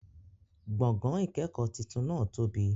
Gbọ̀gán-ìkẹ́kọ titun náà tóbi